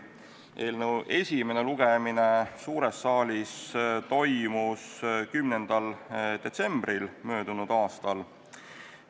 Eelnõu esimene lugemine suures saalis toimus 10. detsembril möödunud aastal.